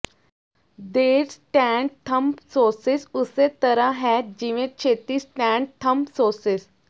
ਦੇਰ stent thrombosis ਉਸੇ ਤਰ੍ਹਾਂ ਹੈ ਜਿਵੇਂ ਛੇਤੀ ਸਟੈਂਟ ਥੰਬਸੌਸਿਸ